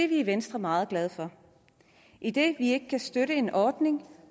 vi i venstre meget glade for idet vi ikke kan støtte en ordning